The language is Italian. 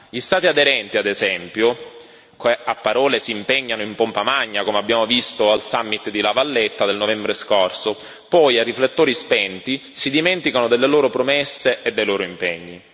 Gli Stati aderenti, ad esempio, a parole si impegnano in pompa magna come abbiamo visto al summit di La Valletta del novembre scorso ma poi, a riflettori spenti, si dimenticano delle loro promesse e dei loro impegni.